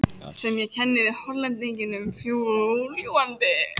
sem ég kenni við Hollendinginn fljúgandi.